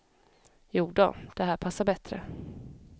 Jodå, det här passar bättre.